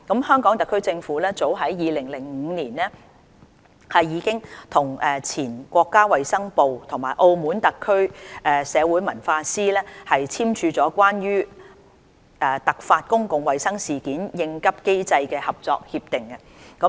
香港特區政府早於2005年已與前國家衞生部及澳門特區社會文化司簽署了《關於突發公共衞生事件應急機制的合作協議》。